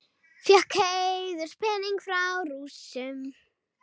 Fékk heiðurspening frá Rússum